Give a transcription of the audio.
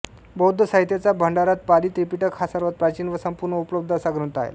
बौद्ध साहित्याचा भांडारात पाली त्रिपिटक हा सर्वात प्राचीन व संपूर्ण उपलब्ध असा ग्रंथ आले